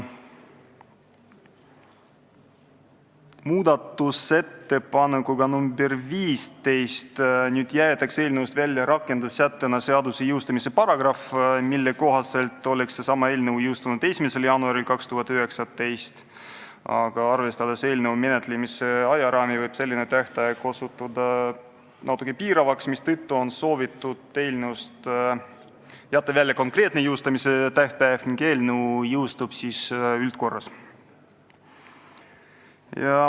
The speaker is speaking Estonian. Muudatusettepanekuga nr 15 jäetakse eelnõust välja rakendussättena seaduse jõustumise paragrahv, mille kohaselt oleks seesama eelnõu jõustunud 1. jaanuaril 2019, aga arvestades eelnõu menetlemise ajaraami, võib selline tähtaeg osutuda natuke piiravaks, mistõttu on soovitud eelnõust jätta välja konkreetne jõustumistähtaeg ning eelnõu jõustuks üldises korras.